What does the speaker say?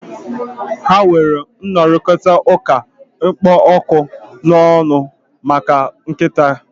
Ha nwere nrụrịtaụ́ká kpụ ọkụ n'ọnụ maka nkịta a